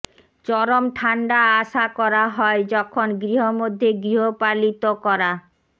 চরম ঠান্ডা আশা করা হয় যখন গৃহমধ্যে গৃহপালিত করা